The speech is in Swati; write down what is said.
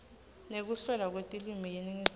nekuhlelwa kwetilwimi yeningizimu